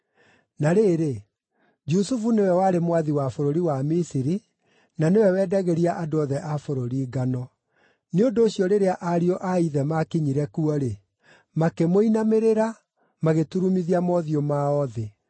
Na rĩrĩ, Jusufu nĩwe warĩ mwathi wa bũrũri wa Misiri na nĩwe wendagĩria andũ othe a bũrũri ngano. Nĩ ũndũ ũcio rĩrĩa ariũ a ithe maakinyire kuo-rĩ, makĩmũinamĩrĩra, magĩturumithia mothiũ mao thĩ.